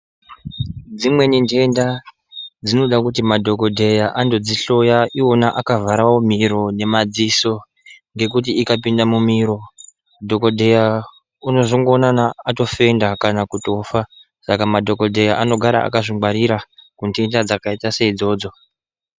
Dzimweni ndenda dzinoda kuti madhokodheya andodzihloya, iwona akavharawo miro nemadziso, ngekuti ikapinda mumiro ,dhokodheya unozongoonana atofenda kana kutofa. Saka madhokodheya anogara akazvingwarira kundenda dzakayita seyidzodzo.